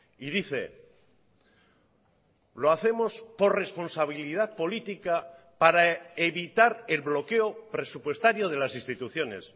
y dice lo hacemos por responsabilidad política para evitar el bloqueo presupuestario de las instituciones